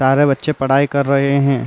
सारे बच्चे पढाई कर रहे हैं।